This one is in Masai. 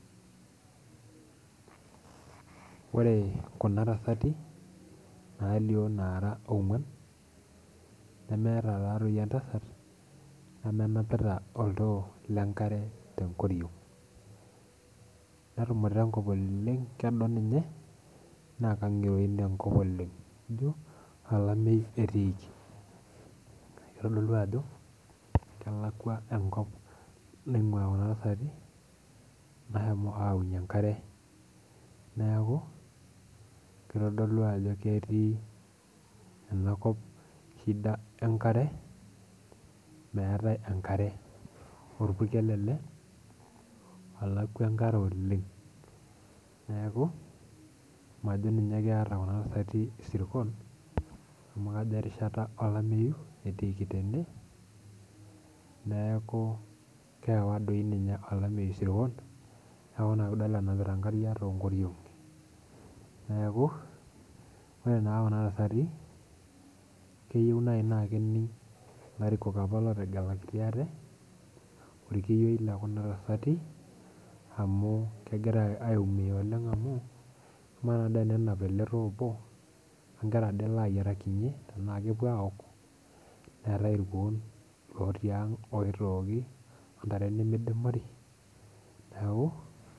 Ore Kuna tasati nalio nara ogwan nemeeta taadei entasat nemenapita oltoo lenkare tenkoriong, netumute ninye enkop kelio ninye naa kingiroin enkop oleng. kelio ajo olameyu etii naa kelio ajo kelakua enkop naingua Kuna tasati nashomo ayaunyie enkare neeku, kitodolu ajo ketii enakop shida enkare meetae enkare ,orpurkel ele olakwa enkare oleng, neeku majo ninye keeta Kuna tasati irsirkon amu erishata olameyu etiiki tene neeku keewa dei ninye olameyu isirkonneeku ina pee idol enapita nkariak toonkoriongi. neeku ore naaji Kuna tasati keyieu naaji naa kening larikok apa lootegelakitia ate ,orkiyioi lekuna tasati amu kegira aiumia oleng amu ama ade tenenap ele too obo enkerai ade elo ayierakinye tenaa kepuo aok ,neetae irkuo otii ang oitooki intare nemidimari.